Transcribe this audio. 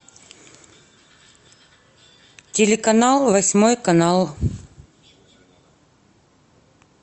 телеканал восьмой канал